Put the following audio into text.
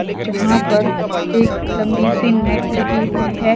जहां पर एक लंबी सी नेट लगी हुई है।